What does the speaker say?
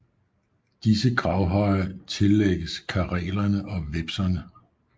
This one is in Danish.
Disse gravhøje tillægges karelerne og vepserne